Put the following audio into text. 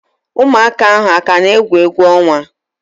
Ụmụaka ahu akana egwu egwu onwa?